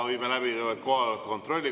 Viime läbi kohaloleku kontrolli.